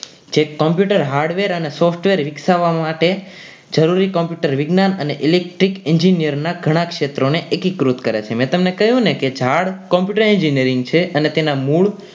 જે computer hardware અને software વિકસાવવા માટે જરૂરી computer વિજ્ઞાન અને electric engineer ના ઘણા ક્ષેત્રોને અધિકૃત કરે છે મિત્રો તમને કહ્યું ને કે ઝાડ computer engineering છે અને તેના મૂળ